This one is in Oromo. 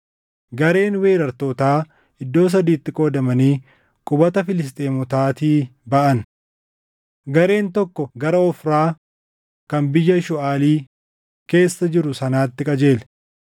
Gareen weerartootaa iddoo sadiitti qoodamanii qubata Filisxeemotaatii baʼan. Gareen tokko gara Ofraa kan biyya Shuuʼaali keessa jiru sanaatti qajeele;